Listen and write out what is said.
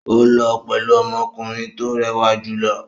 Ó lọ pẹ̀lú ọmọkùnrin tó rẹwà jù lọ.